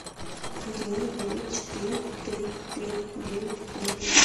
один девять четыре три три девять ноль